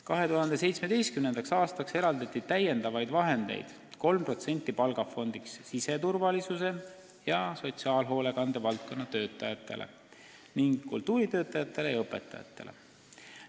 2017. aastaks eraldati palgafondi 3%-liseks kasvuks lisaraha siseturvalisuse ja sotsiaalhoolekande valdkonna töötajatele ning kultuuritöötajatele ja õpetajatele.